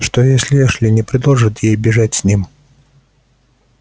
что если эшли не предложит ей бежать с ним